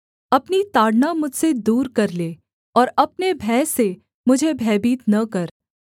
अपनी ताड़ना मुझसे दूर कर ले और अपने भय से मुझे भयभीत न कर